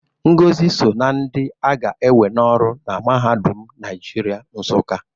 Ngozi so na ndị a ga-ewe n'ọrụ na Mahadum Naịjirịa, Nsụka